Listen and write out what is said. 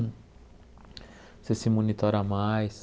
Você se monitora mais,